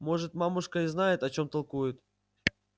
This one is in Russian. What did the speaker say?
может мамушка и знает о чём толкует